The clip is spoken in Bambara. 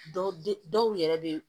Dɔw dɔw yɛrɛ be